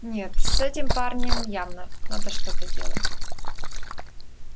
нет с этим парнем явно надо что-то делать